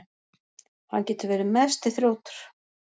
Hann getur verið mesti þrjótur.